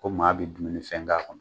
Ko maa bɛ dumuni fɛn k'a kɔnɔ